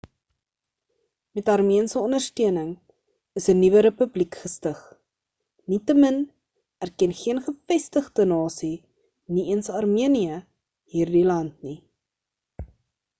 met armeense ondersteuning is 'n nuwe republiek gestig nietemin erken geen gevestigde nasie nie eens armenië hierdie land nie